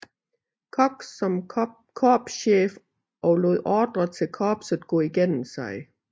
Cox som korpschef og lod ordrer til korpset gå igennem sig